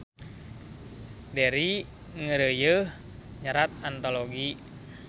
Deri ngeureuyeuh nyerat antologi